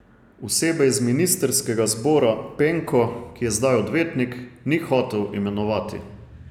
Osebe iz ministrskega zbora Penko, ki je zdaj odvetnik, ni hotel imenovati.